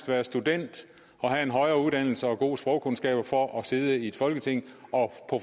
være student og have en højere uddannelse og gode sprogkundskaber for at sidde i et folketing og